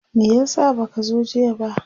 me yasa baka zo jiya ba?